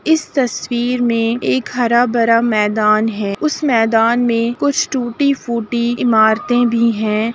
इस तस्वीर में एक हरा भरा मैदान है उस मैदान में कुछ टूटी फूटी इमारते भी हैं।